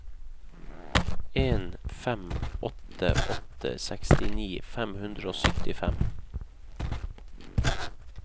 en fem åtte åtte sekstini fem hundre og syttifem